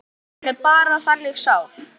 Hann er bara þannig sál.